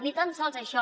ni tan sols això